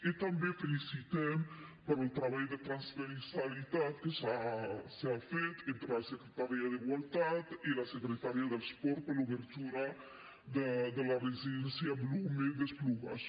i també felicitem pel treball de transversalitat que s’ha fet entre la secretaria d’igualtat i la secretaria de l’esport per l’obertura de la residència blume d’esplugues